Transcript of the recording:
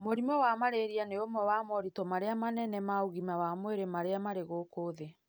Mũrimũ wa malaria nĩ ũmwe wa moritũ marĩa manene ma ũgima wa mwĩrĩ marĩa marĩ gũkũ thĩ